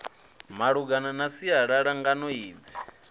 malungana na sialala ngano idzi